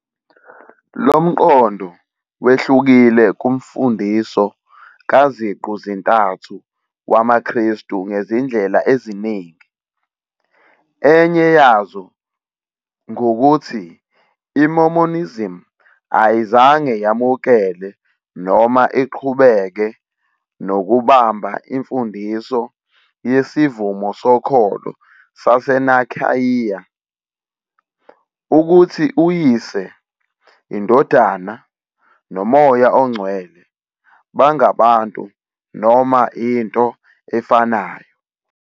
Lo mqondo wehlukile kuMfundiso kaZiqu-zintathu wamaKhristu ngezindlela eziningi, enye yazo ngukuthi iMormonism ayizange yamukele noma iqhubeke nokubamba imfundiso yeSivumo Sokholo saseNicaea, ukuthi uYise, iNdodana noMoya oNgcwele bangabantu noma into efanayo.